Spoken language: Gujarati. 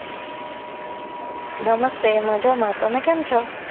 નમસ્તે મજામાં તમે કેમ છો?